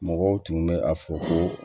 Mɔgɔw tun bɛ a fɔ ko